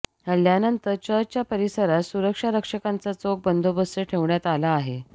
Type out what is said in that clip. हल्ल्यानंतर चर्चच्या परिसरात सुरक्षारक्षकांचा चोख बंदोबस्त ठेवण्यात आला आहे